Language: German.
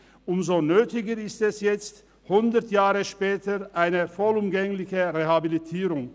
Umso notwendiger ist nun hundert Jahre später eine vollumgängliche Rehabilitierung.